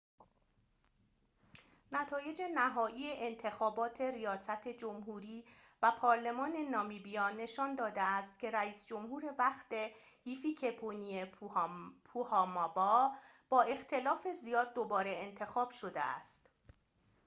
نتایج نهایی انتخابات ریاست جمهوری و پارلمان نامبیا نشان داده است که رئیس جمهور وقت هیفیکه‌پونیه پوهامبا با اختلاف زیاد دوباره انتخاب شده است